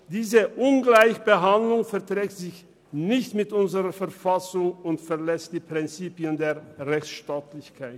Diese Ungleichbehandlung verträgt sich nicht mit unserer Verfassung und verletzt die Prinzipien der Rechtstaatlichkeit.